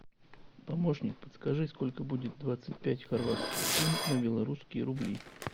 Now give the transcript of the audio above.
помощник подскажи сколько будет двадцать пять хорватских кун на белорусские рубли